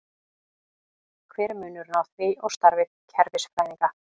Hver er munurinn á því og starfi kerfisfræðinga?